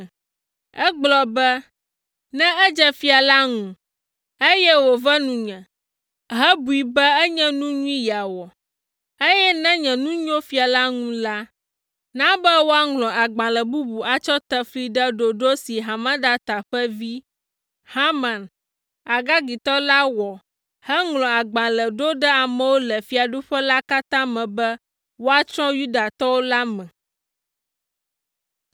Egblɔ be, “Ne edze fia la ŋu, eye wòve nunye hebui be enye nu nyui yeawɔ, eye ne nye nu nyo fia la ŋu la, na be woaŋlɔ agbalẽ bubu atsɔ ate fli ɖe ɖoɖo si Hamedata ƒe vi, Haman, Agagitɔ la wɔ heŋlɔ agbalẽ ɖo ɖe amewo le fiaɖuƒe la katã me be woatsrɔ̃ Yudatɔwo la me,